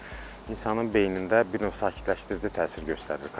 Bunlar insanın beynində bir növ sakitləşdirici təsir göstərir.